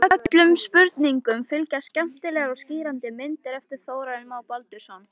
Öllum spurningum fylgja skemmtilegar og skýrandi myndir eftir Þórarinn Má Baldursson.